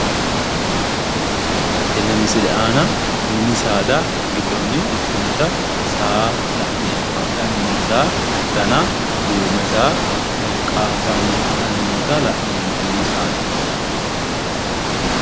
Tenne misile aana mini saada giddonni ikkitinota saa la'neemmo. Hadhanni noo saa dana duume saa qaaffanni hadhanni noota la'neemmo mini saada.